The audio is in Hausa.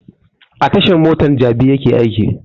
A tashan mota ta jabi yake aiki